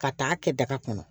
Ka taa kɛ daga kɔnɔ